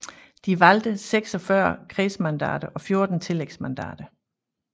De valgte 46 kredsmandater og 14 tillægsmandater